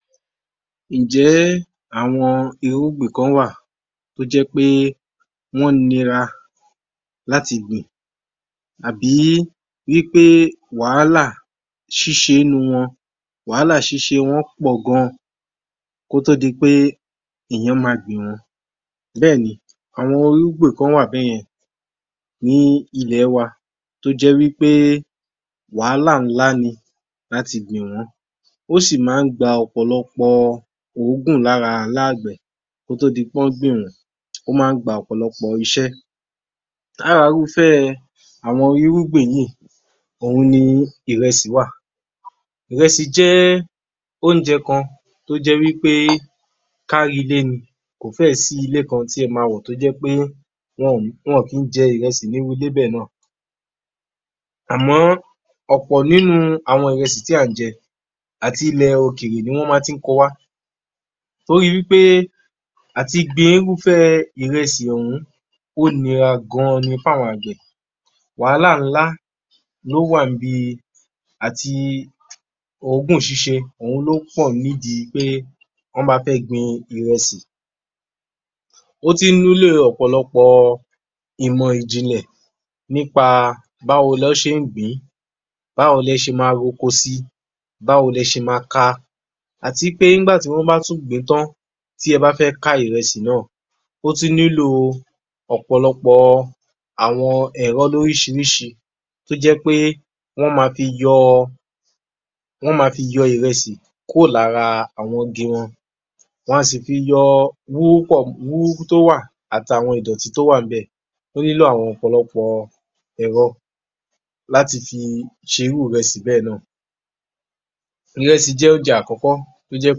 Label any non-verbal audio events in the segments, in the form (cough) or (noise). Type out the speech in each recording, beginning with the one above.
20_ (noise) _yoruba_yor_m_1143_AG00909 Ǹjẹ́ ẹ́ àwọn irúgbìn kán wà tó jẹ́ pé wọ́n nira láti gbìn àbí í wí pé wàhálà ṣíse e nu wọn, wàhálà ṣíse wọn pọ̀ gan kó tó di pé èèyàn máa gbìn wọ́n, bẹ́ẹ̀ni àwọn irúgbìn kán wà bẹ́yẹn ní ilẹ̀ ẹ wa tó jẹ́ wí pé wàhálà ńlá ni láti gbìn wọ́n, ó sì ì máa ń gba ọ̀pọ̀lọpọ̀ òógùn lára aláàgbẹ̀ kó tó di pé wọ́n gbìn wọ́n, ó máa ń gba ọ̀pọ̀lọpọ̀ iṣẹ́. Lára irúfẹ́ àwọn irúgbìn yí ì òun ni ìrẹsì wa. Ìrẹsì jẹ́ óúnjẹ kan tó jẹ́ wí pé káárí-ilé ni. Kò fẹ́ ẹ̀ sí ilé kan tí ẹ ma wọ̀ tó jẹ́ pé wọn ò, wọn ò kí í jẹ ìrẹsì ní irú ilé bẹ́ẹ̀ ná à. Àmọ́ ọ̀pọ̀ nínu ìrẹsì tí à ń jẹ àti ilẹ̀ òkèrè ni wọn ma tí ń ko wá. Torí wí pé àti gbin irúfẹ́ ìrẹsì ọ̀hún ó nira gan-an ni f'áwọn àgbẹ̀. Wàhálà ńlá ló wà ń'bi àti òógùn ṣíṣe ọ̀hún ló pọ̀ nídi pé wọ́n bá fẹ́ gbìn ìrẹsì. Ó tún ní'lé e ọ̀pọ̀lọpọ̀ ìmọ̀ ìjìnlẹ̀ nípa a báwo n'ọ́n ṣe ń gbìn-ín, báwo lẹ se ma r'oko sí i, báwo lẹ se ma ka a. Àti pé nígbàtí wọ́n bá tún gbìn-ín tán, tí ẹ bá fẹ́ ká ìrẹsì ná à, ó tún nílò ọ̀pọ̀lọpọ̀ àwọn ẹ̀ro l'órísìírísìí tó jẹ́ pé wọ́n ma fi yọ ọ, wọ́n ma fi yọ ọ ìrẹsì kúrò lára àwọn igi wọn. Wọn a sì fi yọ ọ wúrú pọ́, wúrúkú tó wà àt'àwọn ìdọ̀tí tó wà ń bẹ̀. Ò nílò àwọn ọ̀pọ̀lọpọ̀ ẹ̀ro láti fi ṣe irú ìrẹsì bẹ́ẹ̀ ná à. Ìrẹsì jẹ́ oúnjẹ àkọ́kọ́ ó jẹ́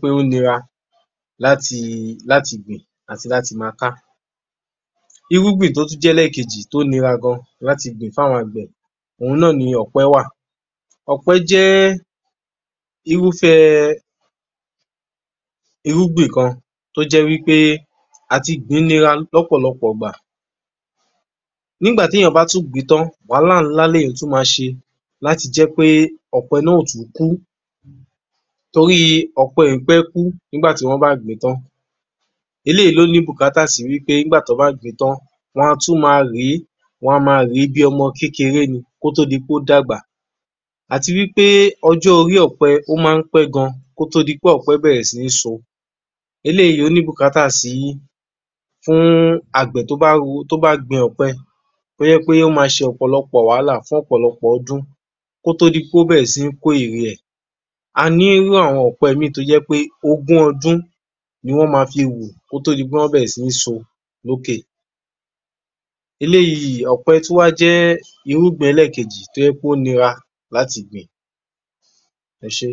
pé ó nira láti i, láti gbìn àti láti máa ká. Irúgbìn tó tún jẹ́ eléèkejì tó nira gan láti gbìn f'áwọn àgbẹ̀ òun ná à ni ọ̀pẹ wà. Ọ̀pẹ́ jẹ́ irúfẹ́ ẹ irúgbìn kan tó jẹ́ wí pé àti gbìn-ín nira l'ọ́pọ̀lọpọ̀ ìgbà. Nígbà tí èèyan bá tún gbìn-ín tán wàhálà ńla l'èèyàn tún máa ṣe láti jẹ́ pé ọ̀pẹ ná à ò tún kú. Torí i ọ̀pẹ ì pẹ́ kú nígbà tí wọ́n bá gbìn-ín tán. Eléyìí ló ni bùkátà sí wí pé nígbà tí wọ́n bá gbìn-ín tán, wọ́n a tún máa rèé, wọ́n a máa rèé bí ọmọ kékeré ni, kó tó di pé ó dàgbà. Àti wí pé ojò orí ọ̀pẹ ò maá ń pẹ̀ kó tó di pé ọ̀pẹ bẹ̀rẹ̀ sí ní so. Eléyìí ó ni bùkátà sí, fún àgbẹ̀ tó bá, tó bá gbin ọ̀pẹ tó jẹ̀ pé ó má a ṣe ọ̀pọ̀lọpọ̀ wàhálà fún ọ̀pọ̀lọpọ̀ ọdún, ko to di pé ó bẹ̀rẹ̀ sí ni kó ère ẹ̀. A ní irú àwọn ọ̀pẹ míì tó jẹ̀ pé ogún ọdún ni wọ́n ma fi hù kó tó di pé wọ́n bẹ̀rẹ̀ sí ni so lókè. Eléyìí, ọ̀pẹ tún wá jẹ́ irúgbìn eléèkejì tó jẹ́ pé ó nira láti gbìn-ín. Ẹ́ṣe